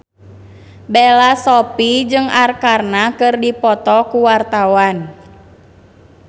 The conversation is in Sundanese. Bella Shofie jeung Arkarna keur dipoto ku wartawan